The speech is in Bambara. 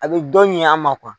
A bi dɔ ɲ'an ma